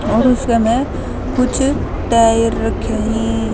और उसकह मह कुछ टायर रख्यां हं।